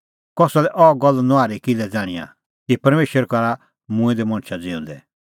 कसा लै अह गल्ला नुआहरी किल्है ज़ाण्हिंआं कि परमेशर करा मूंऐं दै मणछा ज़िऊंदै